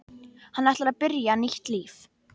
Hann ætlar að byrja nýtt líf.